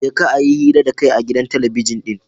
jeka a yi hira da kai a gidan talabijin ɗin.